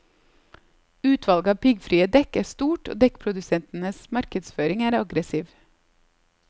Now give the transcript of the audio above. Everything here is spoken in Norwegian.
Utvalget av piggfrie dekk er stort og dekkprodusentenes markedsføring er aggressiv.